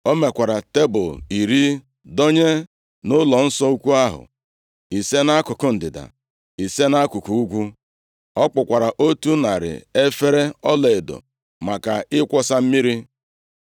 O mekwara tebul iri dọnye nʼụlọnsọ ukwu ahụ, ise nʼakụkụ ndịda, ise nʼakụkụ ugwu. Ọ kpụkwara otu narị efere ọlaedo maka ịkwọsa mmiri.